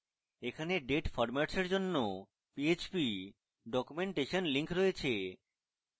এখানে date formatsএর জন্য php documentation link রয়েছে